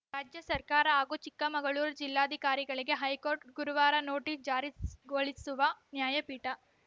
ರಾಜ್ಯ ಸರ್ಕಾರ ಹಾಗೂ ಚಿಕ್ಕಮಗಳೂರು ಜಿಲ್ಲಾಧಿಕಾರಿಗಳಿಗೆ ಹೈಕೋರ್ಟ್‌ ಗುರುವಾರ ನೋಟಿಸ್‌ ಜಾರಿಸ್ ಗೊಳಿಸುವ ನ್ಯಾಯಪೀಠ